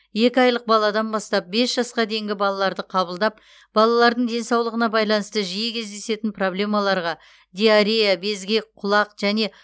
екі айлық баладан бастап бес жасқа дейінгі балаларды қабылдап балалардың денсаулығына байланысты жиі кездесетін проблемаларға диарея безгек құлақ және